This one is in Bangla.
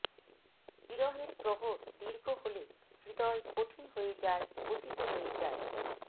বিরহের প্রহর দীর্ঘ হলে হৃদয় কঠিন হয়ে যায় পতিত হয়ে যায়